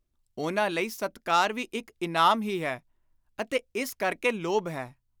ਉਨ੍ਹਾਂ ਲਈ ‘ਸਤਿਕਾਰ’ ਵੀ ਇਕ ਇਨਾਮ ਹੀ ਹੈ, ਅਤੇ ਇਸ ਕਰਕੇ ਲੋਭ ਹੈ।